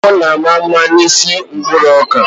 Nne m na-ama mma n'isi mkpụrụ ọka.